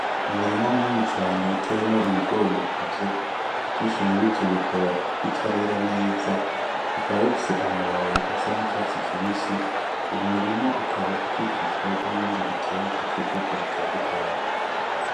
Umurima munini cane uteyemwo ibigori bikuze, vyinshi murivyo bikaba bitarera neza, bikaba bifise amababi asa n'icatsi kibisi, uwo murima ukaba ukikijwe n'ibindi biterwa vy'ubwoko butandukanye.